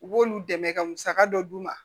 U b'olu dɛmɛ ka musaka dɔ d'u ma